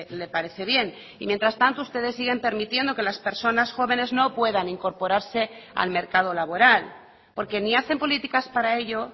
le parece bien y mientras tanto ustedes siguen permitiendo que las personas jóvenes no puedan incorporarse al mercado laboral porque ni hacen políticas para ello